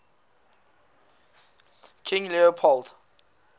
king leopold